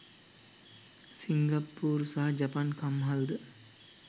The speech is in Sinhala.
සිංගප්පූරු සහ ජපන් කම්හල්ද